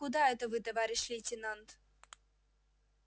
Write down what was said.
куда это вы товарищ лейтенант